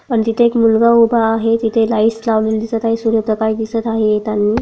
आणि तिथे एक मुलगा उभा आहे तिथे लाईटस लावलेली दिसत आहे सूर्यप्रकाश दिसत आहे येतानी--